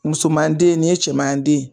Musoman den nin ye cɛman den ye